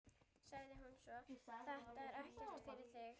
sagði hún svo: Þetta er ekkert eftir þig!